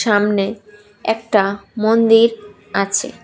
সামনে একটা মন্দির আছে।